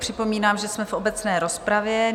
Připomínám, že jsme v obecné rozpravě.